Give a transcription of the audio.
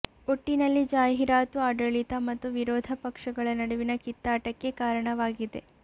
ಒಟ್ಟಿನಲ್ಲಿ ಜಾಹೀರಾತು ಆಡಳಿತ ಮತ್ತು ವಿರೋಧ ಪಕ್ಷಗಳ ನಡುವಿನ ಕಿತ್ತಾಟಕ್ಕೆ ಕಾರಣವಾಗಿದೆ